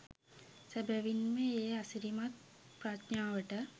සැබැවින් ම ඒ අසිරිමත් ප්‍රඥාවට